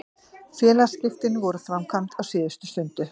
Félagsskiptin voru framkvæmd á síðustu stundu.